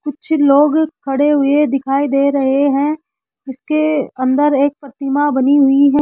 कुछ लोग खड़े हुए दिखाई दे रहे हैं इसके अंदर एक प्रतिमा बनी हुई है।